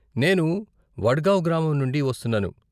నేను వడ్గావ్ గ్రామం నుండి వస్తున్నాను.